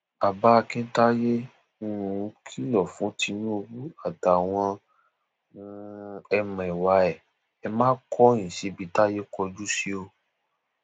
bàbá akintaye um kìlọ fún tinubu àtàwọn um ẹmẹwà ẹ ẹ ma kọyìn síbi táyé kọjú sí o